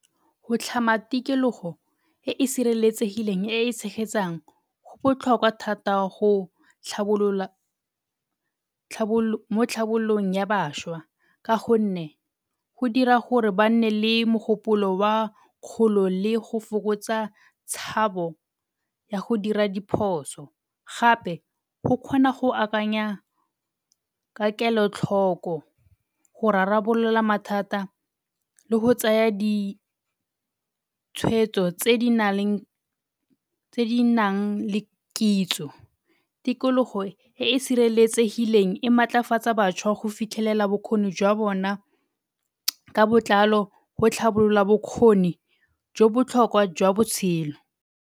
Go tlhama tikologo e e sireletsegileng e e tshegetsang, go botlhokwa thata go tlhabolola mo tlhabololong ya bašwa ka go nne go dira gore ba nne le mogopolo wa kgolo le go fokotsa tshabo ya go dira diphoso. Gape go kgona go akanya ka kelotlhoko go rarabolola mathata le go tsaya ditshwetso tse di na leng, tse di nang le kitso. Tikologo e e sireletsegileng e maatlafatsa bašwa go fitlhelela bokgoni jwa bona ka botlalo go tlhabolola bokgoni jo botlhokwa jwa botshelo.